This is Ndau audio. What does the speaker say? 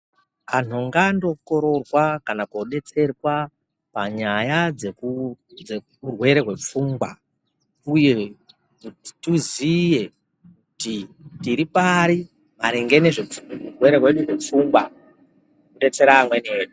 Anhu ngaandokororwa kana kobetserwa panyaya dzeurwere hwepfungwa uye kuti tiziye kuti tiri pari maringe nezveurwere hwedu hwepfungwa kudetsera amweni edu.